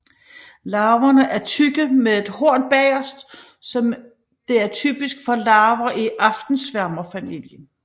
Larverne er tykke med et horn bagerst som det er typisk for larver i aftensværmerfamilien